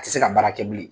A tɛ se ka baara kɛ bilen